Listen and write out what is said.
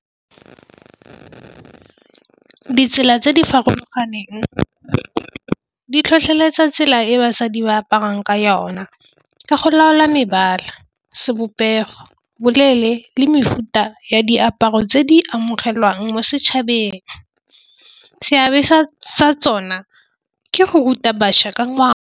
Ditsela tse di farologaneng di tlhotlheletsa tsela e basadi ba aparang ka yona. Ka go laola mebala sebopego, boleele le mefuta ya diaparo tse di amogelwang mo setšhabeng, seabe sa sa tsona ke go ruta bašwa ka.